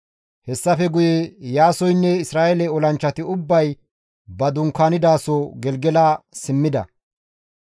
Hessafe guye Iyaasoynne Isra7eele olanchchati ubbay ba dunkaanidaso Gelgela simmida.